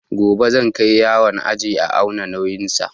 Gobe zan kai yaron aje a auna nauyin sa